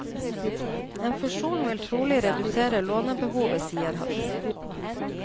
En fusjon vil trolig redusere lånebehovet, sier han.